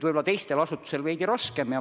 Võib-olla teistel asutustel on veidi raskem.